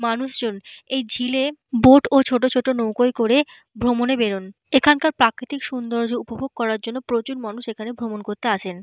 মানুষজন এই ঝিলে বোট ও ছোট ছোট নৌকোয় করে ভ্রমণে বেরোন। এখানকার প্রাকৃতিক সুন্দর্য উপভোগ করার জন্য প্রচুর মানুষ এখানে আসেন।